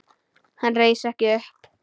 Hann reis ekki upp.